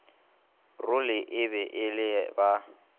role e le ge ba